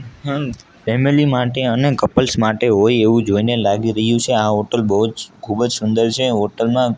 family માટે અને couples માટે હોય એવું જોઈને લાગી રહ્યું છે આ હોટલ બોજ ખૂબજ સુંદર છે હોટલ માં--